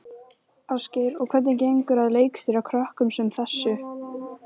Sjálfstraust Marks hafði góð áhrif á kynlíf þeirra.